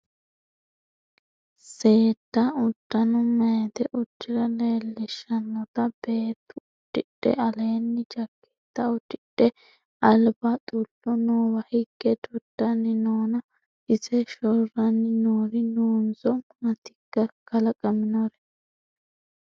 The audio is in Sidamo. Seedda udano mayite udira leellishanotta beettu udidhe aleeni jakketa udidhe albaa xulo noowa hige dodani noonna ise shorani noori noonso maatikka kalaqaminori ?